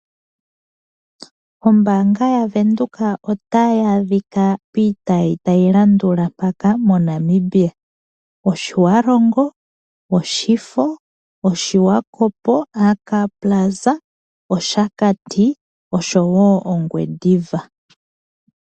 Ombaanga yaVenduka otayi adhika piitayi tayi landula mpaka moNamibia. Otjiwarongo, oshifo, Swakopmund, Oshakati oshowo Ongwediva.